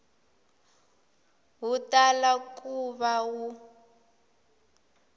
wu tala ku va wu